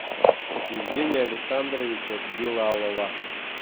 евгения александровича билалова